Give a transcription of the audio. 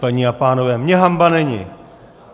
Paní a pánové, mně hanba není!